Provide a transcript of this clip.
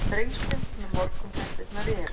Þrengslin með morgunfréttirnar í eyrunum.